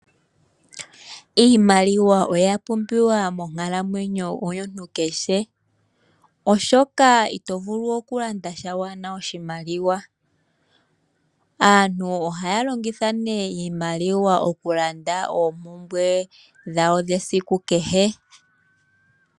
Iimaliwa oya pumbiwa monkalamwenyo yomuntu kehe. Oshoka ito vulu oku landa sha ngele kuna oshimaliwa. Aantu ohaya longitha iimaliwa okulanda oompumbwe dhawo dhesiku kehe.